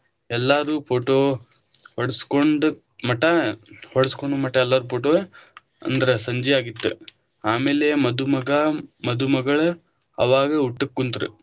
ಎಲ್ಲಾರು photo ಹೊಡ್ಸ್ಕೊಂಡ ಮಠ ಹೊಡ್ಸಕೋನು ಮಠ ಎಲ್ಲಾರು photo ಅಂದ್ರ ಸಂಜಿ ಆಗಿತ್ತ, ಆಮೇಲೆ ಮಧುಮಗ ಮಧುಮಗಳ ಅವಾಗ ಊಟಕ್ಕ ಕುಂತ್ರ.